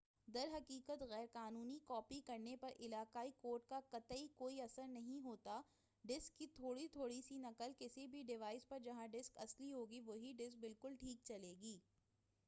در حقیقت غیر قانونی کاپی کرنے پر علاقائی کوڈ کا قطعی کوئی اثر نہیں ہوتا ہے ڈسک کی تھوڑی تھوڑی سی نقل کسی بھی ڈیوائس پر جہاں ڈسک اصلی ہوگی وہی ڈسک بالکل ٹھیک چلے گی